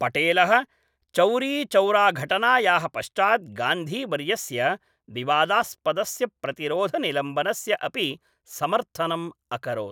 पटेलः चौरीचौराघटनायाः पश्चात् गान्धीवर्यस्य विवादास्पदस्य प्रतिरोधनिलम्बनस्य अपि समर्थनं अकरोत्।